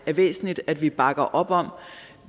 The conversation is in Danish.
er væsentligt at vi bakker op om